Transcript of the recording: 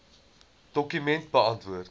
dokument beantwoord